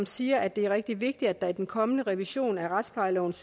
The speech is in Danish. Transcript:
siger at det er rigtig vigtigt at der i den kommende revision af retsplejelovens